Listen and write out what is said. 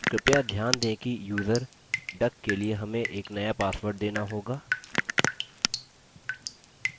कृपया ध्यान दें कि यूज़र duck के लिए हमें एक नया password देना होगा